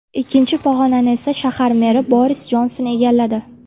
Ikkinchi pog‘onani esa shahar meri Boris Jonson egalladi.